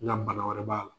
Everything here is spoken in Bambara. Na bana wɛrɛ b'a la